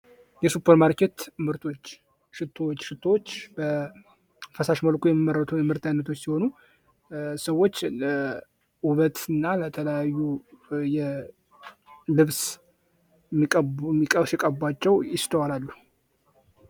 የሱፐር ማርኬት ምርቶች ሽቶዎች:- ሽቶዎች በፈሳሽ መልኩ የሚመረቱ የምርት አይነቶች ሲሆኑ ሰዎች ለዉበት እና ለተለያዩ ልብስ ሲቀቧቸዉ ይስተዋላሉ።